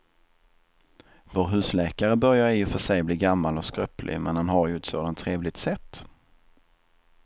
Vår husläkare börjar i och för sig bli gammal och skröplig, men han har ju ett sådant trevligt sätt!